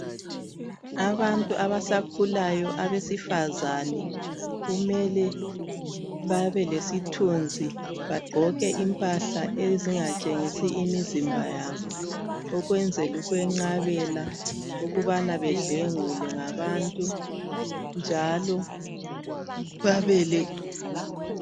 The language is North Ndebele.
Abantu abasakhulayo abesifazane kumele babe lesithunzi bagqoke impahla ezingatshengisi imizimba yabo ukwenzela ukwenqabela ukubana bedlwengulwe ngabantu njalo babe le.